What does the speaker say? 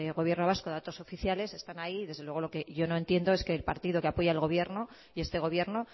gobierno vasco datos oficiales están ahí y desde luego lo que yo no entiendo es que el partido que apoya al gobierno y este gobierno